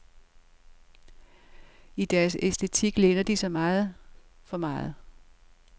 I deres æstetik læner de sig meget, for meget.